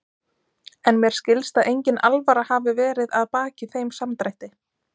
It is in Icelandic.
En mér skilst að engin alvara hafi verið að baki þeim samdrætti.